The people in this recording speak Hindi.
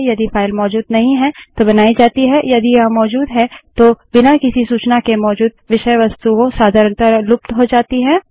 यदि फाइल मौजूद नहीं है तो बनाई जाती है यदि यह मौजूद है तो बिना किसी सूचना के मौजूद विषय वस्तुएँ सधारणतः लुप्त हो जाती हैं